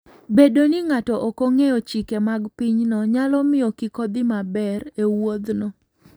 Bedo ni ng'ato ok ong'eyo chike mag pinyno, nyalo miyo kik odhi maber e wuodhno.